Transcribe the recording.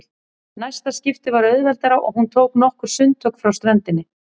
Næsta skipti var auðveldara og hún tók nokkur sundtök frá ströndinni.